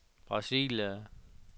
Brasilia